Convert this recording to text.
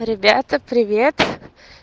ребята привет